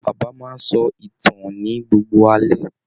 Bàbá máa n sọ ìtàn ní gbogbo alẹ́.